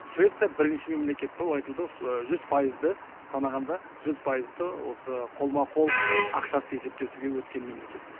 швеция бірінші мемлекет болып айтылды жүз пайызды санағанда жүз пайызды осы қолма қол ақшасыз есептесуге өткен мемлекет